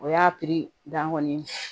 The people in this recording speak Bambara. O y'a piri dan kɔni ye